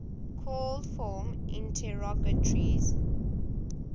called form interrogatories